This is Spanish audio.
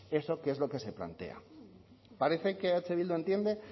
eso que es lo que se plantea parece que eh bildu entiende